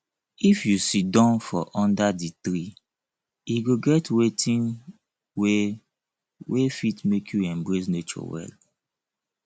if you sidon for under di tree e go get wetin wey wey fit make you embrace nature well